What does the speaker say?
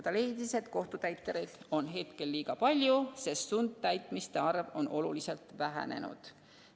Ta leidis, et kohtutäitureid on liiga palju, sest sundtäitmiste arv on oluliselt vähenenud.